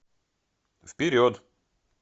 вперед